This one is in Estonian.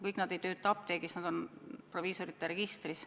Kõik nad ei tööta apteegis, nad on proviisorite registris.